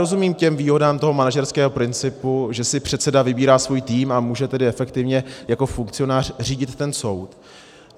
Rozumím těm výhodám toho manažerského principu, že si předseda vybírá svůj tým, a může tedy efektivně jako funkcionář řídit ten soud.